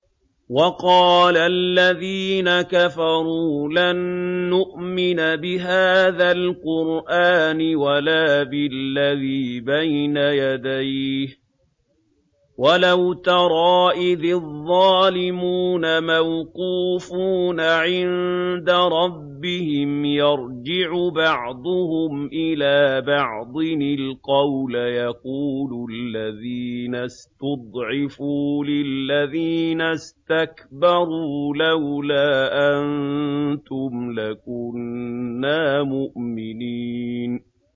وَقَالَ الَّذِينَ كَفَرُوا لَن نُّؤْمِنَ بِهَٰذَا الْقُرْآنِ وَلَا بِالَّذِي بَيْنَ يَدَيْهِ ۗ وَلَوْ تَرَىٰ إِذِ الظَّالِمُونَ مَوْقُوفُونَ عِندَ رَبِّهِمْ يَرْجِعُ بَعْضُهُمْ إِلَىٰ بَعْضٍ الْقَوْلَ يَقُولُ الَّذِينَ اسْتُضْعِفُوا لِلَّذِينَ اسْتَكْبَرُوا لَوْلَا أَنتُمْ لَكُنَّا مُؤْمِنِينَ